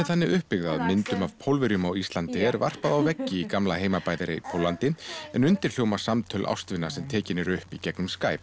þannig upp byggð að myndum af Pólverjum á Íslandi er varpað á veggi í gamla heimabæ þeirra í Póllandi en undir hljóma samtöl ástvina sem tekin eru upp í gegnum Skype